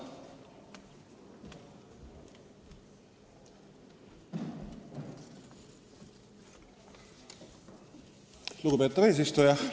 Lugupeetav eesistuja!